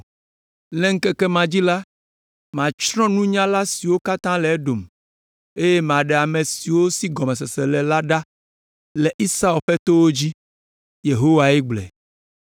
“Le ŋkeke ma dzi la, matsrɔ̃ nunyala siwo katã le Edom eye maɖe ame siwo si gɔmesese le la ɖa le Esau ƒe towo dzi.” Yehowae gblɔe.